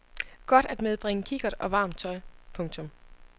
Godt at medbringe kikkert og varmt tøj. punktum